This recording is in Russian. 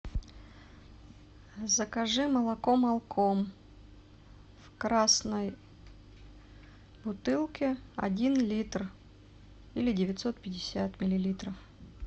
закажи молоко молком в красной бутылке один литр или девятьсот пятьдесят миллилитров